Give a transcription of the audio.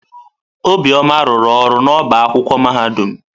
Obioma rụrụ ọrụ n'ọba akwụkwọ mahadum.